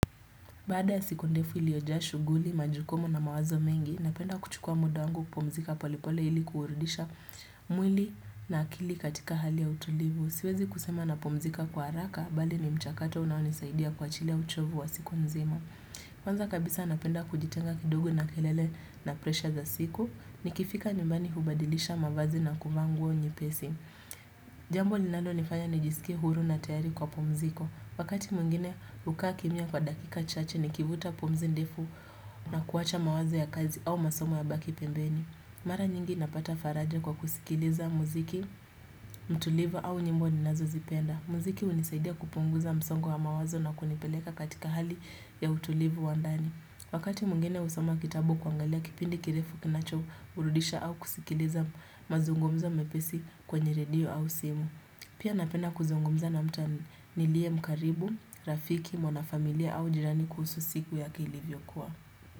Bada siku ndefu ilioja shuguli, majukumu na mawazo mengi, napenda kuchukua muda wangu kupomzika polepole ili kuurudisha mwili na akili katika hali ya utulivu. Siwezi kusema na pomzika kwa haraka, bali ni mchakato unaonisaidia kwa ajili ya uchovu wa siku mzima. Kwanza kabisa napenda kujitenga kidogu na kelele na presha za siku, nikifika nyumbani hubadilisha mavazi na kuvaa nguo nyepesi Jambo linalo nifanya nijiskie huru na tayari kwa pumziko Wakati mwingine kukaakimya kwa dakika chache ni kivuta pumzi ndefu na kuwacha mawazo ya kazi au masomo yabaki pembeni Mara nyingi napata faraja kwa kusikiliza muziki, mtulivu au nyimbo ninazo zipenda Muziki unisaidia kupunguza msongo wa mawazo na kunipeleka katika hali ya utulivu wandani Wakati mwingine husoma kitabu au kuangalia kipindi kirefu kinacho burudisha au kusikilisa mazungumzo mepesi kwenye redio au simu. Pia napena kuzungumza na mtu nilie mkaribu, rafiki, mwana familia au jirani kuhusu siku ya kilivyo kuwa.